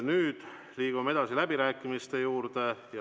Nüüd liigume edasi läbirääkimiste juurde.